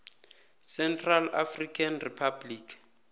central african republic